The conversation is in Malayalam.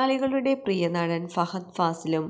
മലയാളികളുടെ പ്രിയനടന് ഫഹദ് ഫാസിലും